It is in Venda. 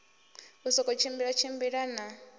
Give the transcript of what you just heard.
u sokou tshimbila tshimbila na